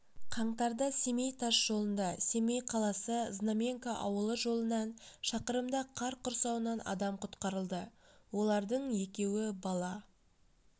қаңтарда семей тас жолында семей қаласы-знаменка ауылы жолынан шақырымда қар құрсауынан адам құтқарылды олардың екеуі бала